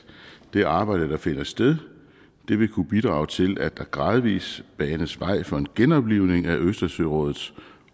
det arbejde der finder sted vil kunne bidrage til at der gradvis banes vej for en genoplivning af østersørådets